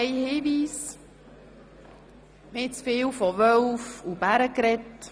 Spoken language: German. Noch ein Hinweis: Wir haben viel von Wölfen und Bären gesprochen.